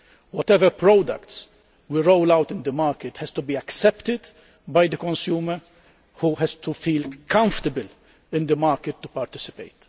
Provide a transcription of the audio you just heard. Whatever products we roll out in the market have to be accepted by the consumer, who has to feel comfortable in the market to participate.